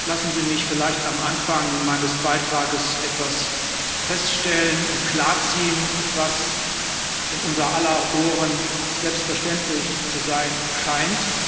Lassen Sie mich vielleicht am Anfang meines Beitrages etwas feststellen und klar ziehen, was in unser aller Ohren selbstverständlich zu sein scheint.